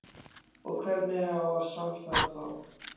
Og hvernig á að sannfæra þá?